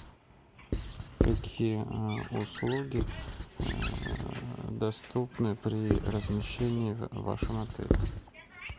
какие услуги доступны при размещении в вашем отеле